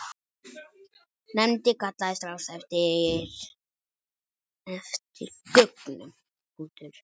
Nefndin kallaði strax eftir gögnum.